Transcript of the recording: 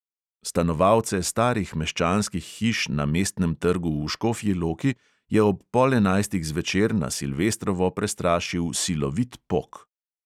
Stanovalce starih meščanskih hiš na mestnem trgu v škofji loki je ob pol enajstih zvečer na silvestrovo prestrašil silovit pok.